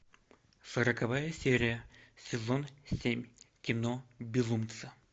сороковая серия сезон семь кино безумцы